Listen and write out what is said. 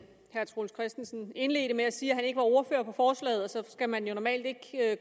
herre troels christensen indledte med at sige at han ikke er ordfører på forslaget så skal man jo normalt ikke